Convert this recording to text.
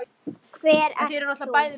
Hver ert þú?